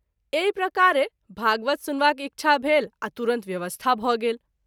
एहि प्रकारे भागवत सुनवाक इच्छा भेल आ तुरत व्यवस्था भ’ गेल।